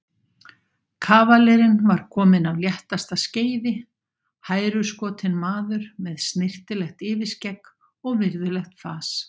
Kavalerinn var kominn af léttasta skeiði, hæruskotinn maður með snyrtilegt yfirskegg og virðulegt fas.